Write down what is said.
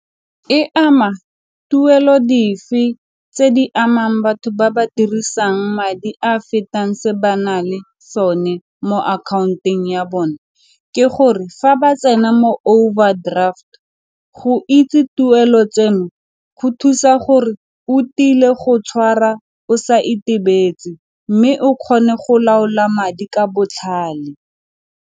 E ama tuelo dife tse di amang batho ba ba dirisang madi a fetang se banang le sone mo akhaonyeng ya bone ke gore fa ba tsena mo overdraft go itse tuelo tseno go thusa gore o tile go tshwara o sa itebetse mme o kgone go laola madi ka botlhale.